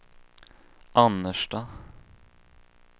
Annerstad